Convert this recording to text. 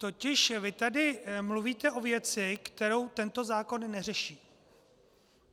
Totiž vy tady mluvíte o věci, kterou tento zákon neřeší.